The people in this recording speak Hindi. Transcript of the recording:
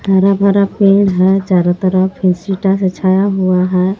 हरा भरा पेड़ है। चारों तरफ फेस सीता से छाया हुआ है।